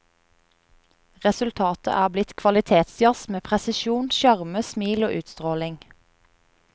Resultatet er blitt kvalitetsjazz med presisjon, sjarme, smil og utstråling.